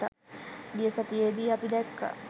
ගිය සතියේ දි අපි දැක්කා